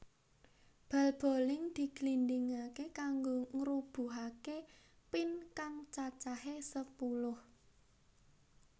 Bal boling diglindingaké kanggo ngrubuhake pin kang cacahé sepuluh